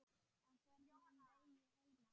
Á förnum vegi heima á